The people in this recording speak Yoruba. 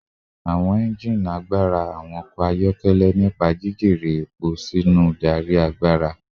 Awọn engine agbara awọn ọkọ ayọkẹlẹ nipa jijere epo sinu darí agbara